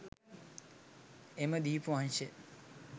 එම දීපවංශය